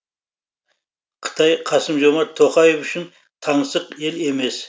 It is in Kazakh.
қытай қасым жомарт тоқаев үшін таңсық ел емес